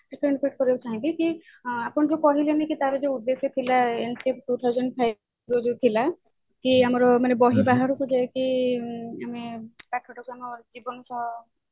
ଟିକେ interpret କରିବାକୁ ଚାହିଁବି ହଁ ଆପଣ ଯୋଉ କହିଲେନି କି ତାର ଯୋଉ ଥିଲା two thousand five ରେ ଯୋଉ ଥିଲା କି ଆମର ବହି ବାହାରକୁ ଯାଇକି ଆମେ